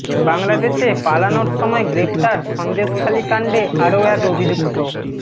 বাংলাদেশে পালানোর সময় গ্রেফতার সন্দেশখালি কাণ্ডে আরও এক অভিযুক্ত